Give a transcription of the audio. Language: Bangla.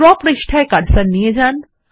ড্র পৃষ্ঠায় কার্সার নিয়ে যান